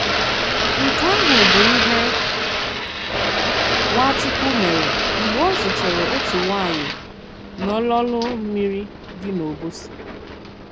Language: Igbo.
Nke àhụ̀ bụ ìhé Nwàchùkwù mèré mg̀bè ọ̀ zùtèrè otu nwànyị̀ n'òlòlù mmìrì dị n'Òbòsi.